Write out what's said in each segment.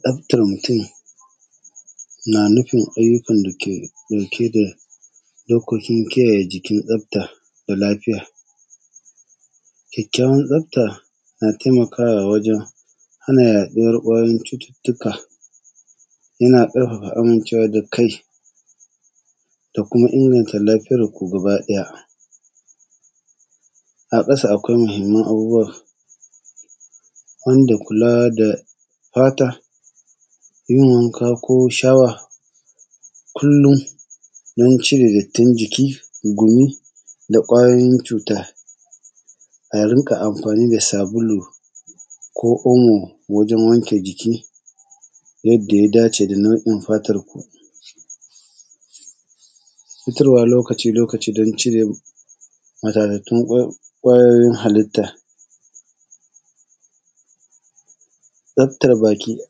Tsaftan mutum na nufin ayyukan dake dauke da dokokin kiyayye jikin tsafta da lafiya. Kyakkyawan tsafta na taimakawa wajen hana yaɗuwar ƙwayoyin cututuka, yana ƙarfafa amincewa da kai da kuma inganta lafiyarku gaba daya. A ƙasa akwai muhimman abubuwa wanda da kula da fata, yin wanka ko shawa kullum don cire dattin jiki, gumi, da kwayoyin cuta, a rinka amfani da sabulu ko moo wajen wanke jiki yadda ya dace da nau’in fatanku. Fitarwa lokaci-lokaci don cire matatatun ƙwayoyin halitta. Tsafta baki da,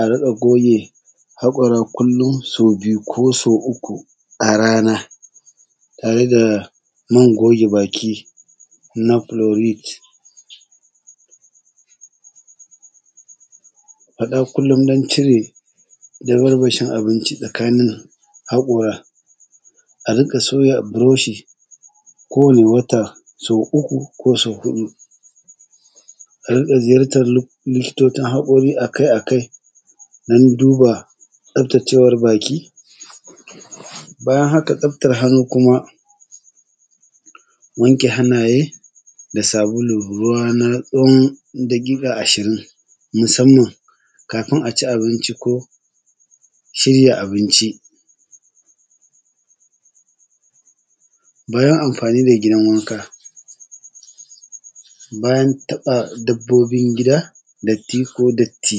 a rika goge haƙora kullum sau biyu, ko so uku a rana, tare da man goge baki na kulurich, ada dan cire damarmashin abinci tsakanin haƙora, a riƙa sauya buroshi ko wani wata so uku ko so huɗu, a rika ziyartar likitocin haƙori akai akai dan duba tsaftacewar baki. Bayan haka tsaftan hannu kuma, wanke hannaye da sabulu da ruwa na tsawon daƙiƙa ashirin, musamman kafin aci abinci ko shirya abinci. Bayan amfani da gidan wanka, bayan taɓa dabbobin gida, datti ko datti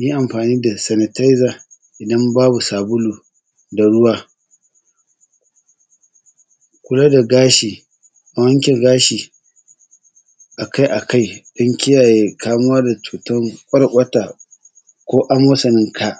yi amfani da sanitaiza idan babu sabulu da ruwa. Kula da gashi, a wanke gashi akai akai don kiyayye kamuwa da cutan ƙwarƙwata ko amosanin ka.